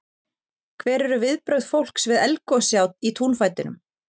Hver eru viðbrögð fólks við eldgosi í túnfætinum?